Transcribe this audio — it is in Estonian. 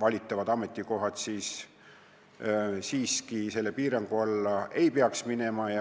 valitavad ametikohad siiski selle piirangu alla ei peaks minema.